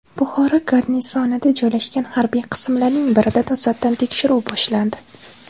Buxoro garnizonida joylashgan harbiy qismlarning birida to‘satdan tekshiruv boshlandi .